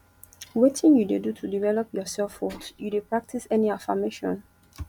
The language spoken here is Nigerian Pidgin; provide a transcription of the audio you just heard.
wetin you dey do to develop your selfworth you dey practice any affirmation